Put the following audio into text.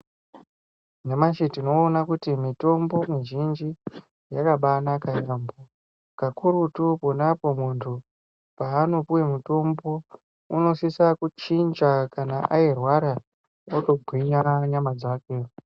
Nyamashi tinoona kuti mitombo mizhinji yakabaanaka yaampho. Kakurutu pona apo muntu paanopuwa mutombo, unosise kuchinja kana arwara, otogwinya nyama dzake.